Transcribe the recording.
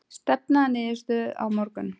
Stefna að niðurstöðu á morgun